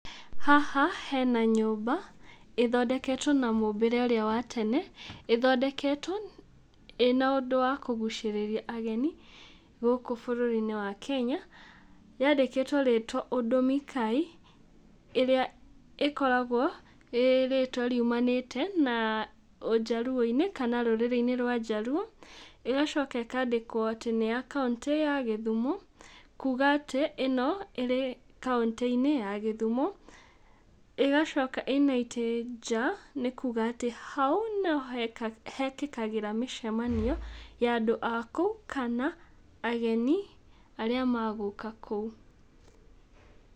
Haha hena nyũmba, ĩthondeketwo na mũmbĩre ũrĩa watene, ĩthondeketwo ĩna ũndũ wa kũgucĩrĩria ageni gũkũ bũrũri-inĩ wa Kenya. Yandĩkĩtwo rĩtwa ũndũ Mikai, ĩrĩa ĩkoragwo ĩ rĩtwa riumanĩte na ũjaruo-inĩ kana rũrĩrĩ-inĩ rwa jaruo. Ĩgacoka ĩkandĩkwo atĩ nĩ ya kauntĩ ya gĩthumo, kuga atĩ ĩno ĩrĩ kauntĩ-inĩ ya gĩthumo. ĩgacoka ĩna itĩ njaa nĩ kuga atĩ hau nĩ hekagĩrwo mĩcemanio ya andũ a kũu, kana ageni arĩa megũka kũu.